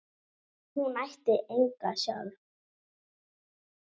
Hún ætti enga sjálf.